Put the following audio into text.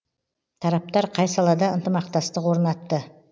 тараптар қай салада ынтымақтастық орнатты